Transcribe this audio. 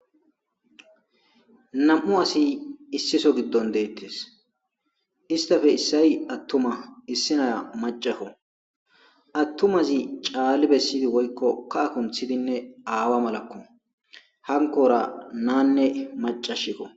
Namu asi issi soho giddoni detesi issitappe issayi atuma issi naiya maccakko atumazi Cali besidi woyikko kaha kanththidinne aawa malakko hanikkora nanne maccashikko